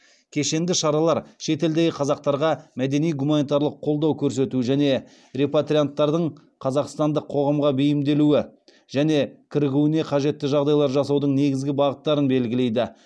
кешенді шаралар шетелдегі қазақтарға мәдени гуманитарлық қолдау көрсету және репатрианттардың қазақстандық қоғамға бейімделуі және кірігуіне қажетті жағдайлар жасаудың негізгі бағыттарын белгілейді